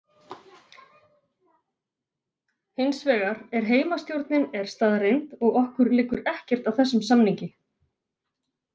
Hins vegar er heimastjórnin er staðreynd og okkur liggur ekkert á þessum samningi.